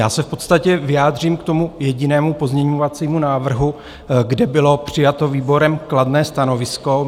Já se v podstatě vyjádřím k tomu jedinému pozměňovacímu návrhu, kde bylo přijato výborem kladné stanovisko.